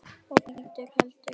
og hvítur heldur velli.